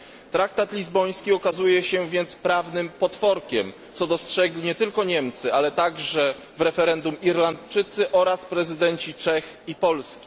Traktat lizboński okazuje się więc prawnym potworkiem, co dostrzegli nie tylko Niemcy, ale także w referendum Irlandczycy oraz prezydenci Czech i Polski.